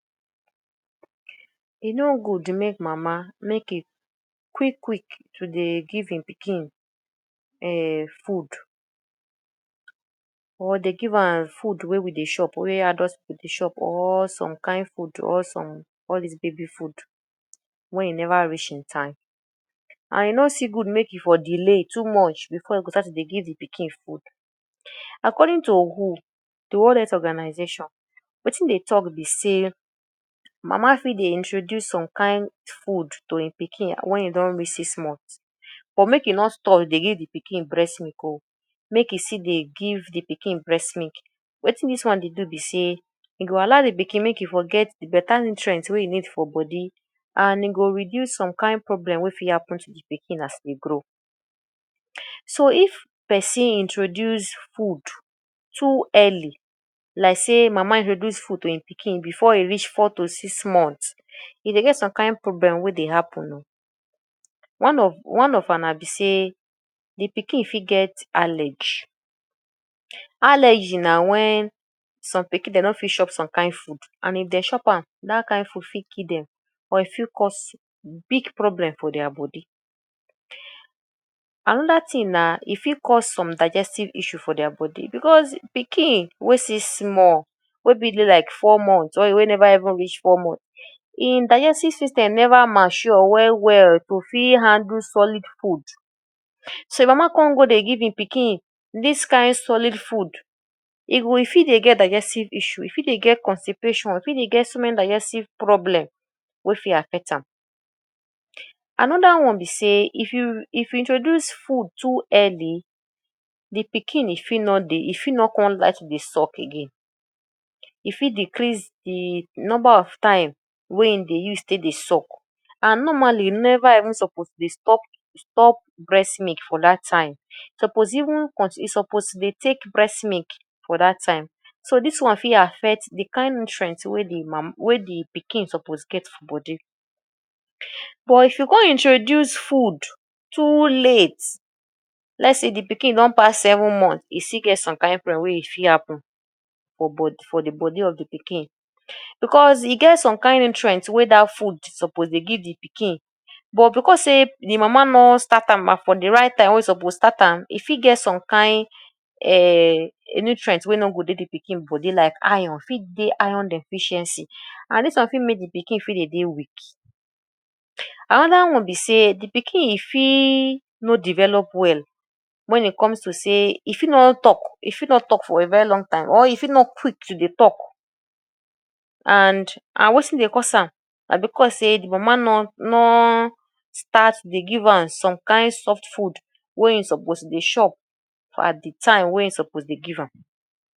E no good make mama make e quick quick to dey give im pikin um food or dey give am food wey we dey chop wey adult pipu dey chop or some kain food or some all dis baby food wen e never reach im time. And e no still good make e for delay too much before e start to dey give de pikin food. According to WHO: de World Health Organisation, wetin dey talk be sey mama fit dey introduce some kain food to im pikin wen e don reach six months but make e no stop dey give de pikin breast milk oo, make e still dey give im pikin breast milk. Wetin dis one dey do be sey e go allow de pikin make e for get better nutrient wey e need for body and im go reduce some kain problem wey fit happen to de pikin as e dey grow. So if person introduce food too early like sey mama introduce food to im pikin before e reach four to six months, e dey get some kain problem wey dey happen oo. One of one of am na be sey; de pikin fit get allergy. Allergy na wen some pikin dey no fit chop some kain food and if dem chop am dat kain food fit kill dem or e fit cause big problem for their body. Another thing na e fit cause some digestive issues for their body because pikin wey still small wey fit dey like four months or wey never even reach four months, im digestive system never mature well well to fit handle solid food. So if mama come go dey give im pikin dis kain solid food, e go e fit dey digestive issue, e fit dey get constipation, e fit dey get small digestive problem wey fit affect am. Another one be sey if you if you introduce food too early de pikin e fit no dey e fit no come like dey suck again. E fit decrease de number of time wey e dey use take dey suck and normally you never even suppose dey stop stop breast milk for dat time. Suppose even? suppose dey take breast milk for dat time. So dis one fit affect de kain nutrient wey de mama wey de pikin suppose get for body. But if you come introduce food too late, let's say de pikin don pass seven month, e still get some kain problem wey e fit happen for? for de body of de pikin because e get some kind nutrients wey dat food suppose dey give de pikin but because sey de mama no start am for de right time wey e suppose start am, e fit get some kain um nutrient wey no go dey de pikin body like iron e fit dey iron deficiency and dis one fit make de pikin fit dey dey weak. Another one be sey de pikin e fit no develop well wen e comes to sey e fit no talk e fit no talk for a very long time or e fit no quick to dey talk and and wetin dey cause am na because sey de mama no no start dey give am some kain soft food wey e suppose dey chop at de time wey e suppose dey give am.